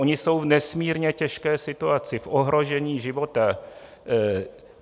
Oni jsou v nesmírně těžké situaci, v ohrožení života.